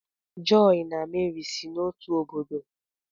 joy na Meri si n'otu obodo